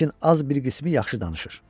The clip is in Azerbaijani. Lakin az bir qismi yaxşı danışır.